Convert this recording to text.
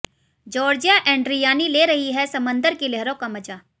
Georgia Andriani ले रही हैं समंदर की लहरों का मजा